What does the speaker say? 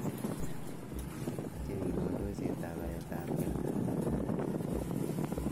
Meche bik kandoisyetab baretab gee.